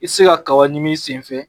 I se ka kaba ɲImi i sen fɛ